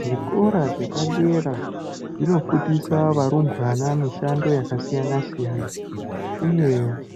Zvikora zvepadera zvinofundisa varumbwana mishando yakasiyana siyana uye